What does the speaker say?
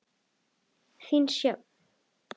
Þín, Sjöfn.